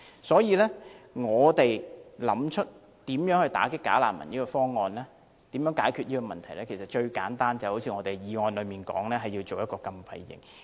所以，若要打擊"假難民"，解決問題的最簡單方法就是一如議案所提出，設立一個禁閉營。